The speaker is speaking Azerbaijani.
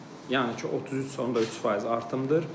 Yəni ki 33.3% artımdır.